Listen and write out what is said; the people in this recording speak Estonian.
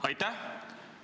Aitäh!